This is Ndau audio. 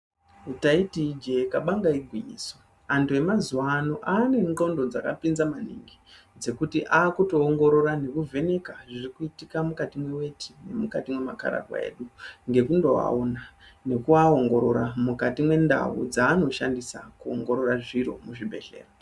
Ndaiti ijee kabanga igwinyiso antu emazuwa ano aane ndxondo dzakapinza maningi dzekuti akutoongorora nekuvheneka zviri kuitika mukati mweweti nemukati mwemakararwa edu Ngekundoaona nekuaongorora mukati mwendau dzaanoshandisa kuongorora zviro muzvibhedhlera.